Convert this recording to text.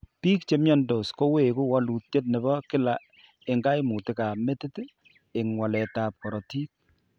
Bik che miandos ko koweku walutyet nebo kila eng' kaimutikab metit eng' waletab korotik.